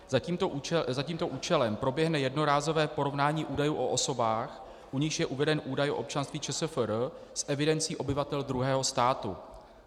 Za tímto účelem proběhne jednorázové porovnání údajů o osobách, u nichž je uveden údaj o občanství ČSFR, s evidencí obyvatel druhého státu.